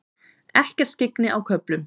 Ekkert skyggni á köflum